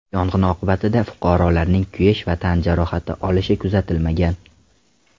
Yong‘in oqibatida fuqarolarning kuyish va tan jarohati olishi kuzatilmagan.